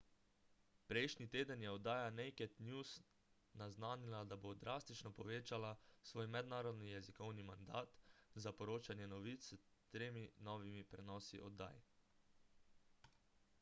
prejšnji teden je oddaja naked news naznanila da bo drastično povečala svoj mednarodni jezikovni mandat za poročanje novic s tremi novimi prenosi oddaj